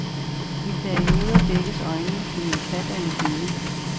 I perioder dækkes øjnene på min kat af en hinde.